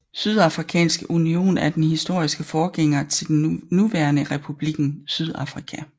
Sydafrikanske union er den historiske forgænger til den nuværende Republikken Sydafrika